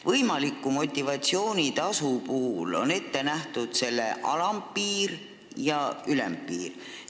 Võimalikul motivatsioonitasul on ette nähtud alampiir ja ülempiir.